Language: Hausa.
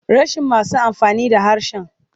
Rashin masu amfani da harshen.